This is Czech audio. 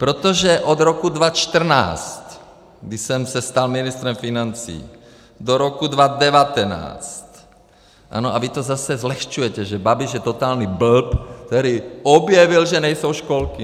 Protože od roku 2014, kdy jsem se stal ministrem financí, do roku 2019 - ano, a vy to zase zlehčujete, že Babiš je totální blb, který objevil, že nejsou školky!